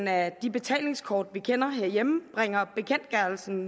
af de betalingskort vi kender herhjemme bringer bekendtgørelsen